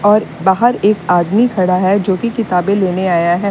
और बाहर एक आदमी खड़ा है जो की किताबें लेने आया है।